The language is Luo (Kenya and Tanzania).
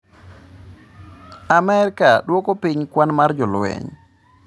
Amerka dwoko piny kwan mar jolweny